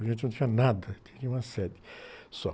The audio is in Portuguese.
A gente não tinha nada, tinha uma sede só.